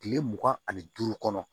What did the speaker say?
Kile mugan ani duuru kɔnɔ